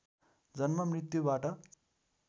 जन्म मृत्युबाट